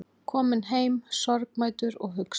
Kominn heim sorgmæddur og hugsi